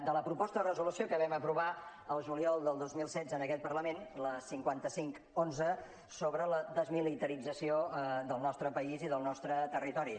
de la proposta de resolució que vam aprovar el juliol del dos mil setze en aquest parlament la cinquanta cinc onze sobre la desmilitarització del nostre país i del nostre territori